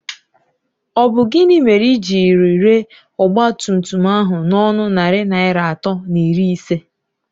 Ọ bụ gịnị mere i jiri ree ọgbatumtum ahụ n'ọnụ narị naịra atọ na iri ise?